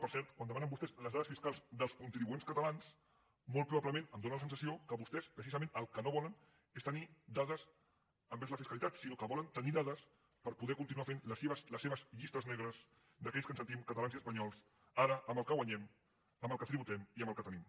per cert quan demanen vostès les dades fiscals dels contribuents catalans molt probablement em dóna la sensació que vostès precisament el que no volen és tenir dades envers la fiscalitat sinó que volen tenir da·des per poder continuar fent les seves llistes negres d’aquells que ens sentim catalans i espanyols ara amb el que guanyem amb el que tributem i amb el que tenim